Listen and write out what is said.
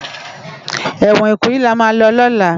Ewòn Ikoyi làmá lò lòlá